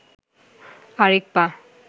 আরেক পা